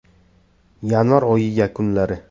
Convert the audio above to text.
Yanvar oyi yakunlari.